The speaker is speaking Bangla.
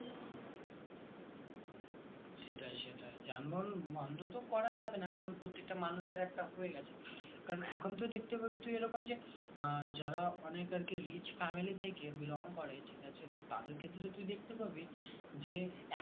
সেটাই সেটাই যানবাহন বন্ধ তো করা যাবে না কারণ প্রত্যেকটা মানুষের একটা হয়ে গেছে কারণ এখন তো দেখতে পাবি তুই এরকম যে আ যারা অনেক আরকি rich family থেকে belong করে ঠিকআছে তো তাদের ক্ষেত্রে তুই দেখতে পাবি যে